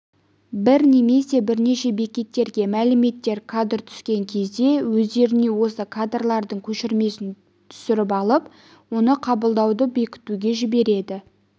бір немесе бірнеше бекеттерге мәліметтер кадры түскен кезде өздеріне осы кадрлардың көшірмесін түсіріп алып оны қабылдауды бекітуге жібереді